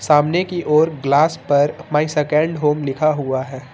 सामने की ओर ग्लास पर माय सेकंड होम लिखा हुआ है।